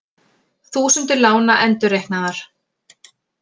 Þúsundir lána endurreiknaðar